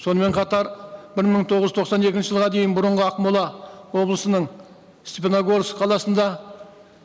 сонымен қатар бір мың тоғыз жүз тоқсан екінші жылға дейін бұрынғы ақмола облысының степногорск қаласында